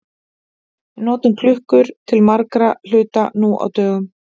Við notum klukkur til margra hluta nú á dögum.